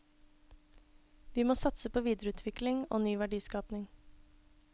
Vi må satse på videreutvikling og ny verdiskaping.